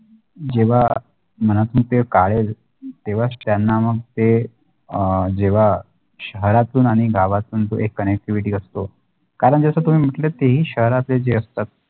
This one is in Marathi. जेव्हा मनातून ते काढेल तेव्हाच त्यांना मग ते अ जेव्हा शहरातून आणि गावातून तो एक connectivity असतो कारण जशे तो तुम्ही म्हंटले ते की शहरातले जे जसे असतात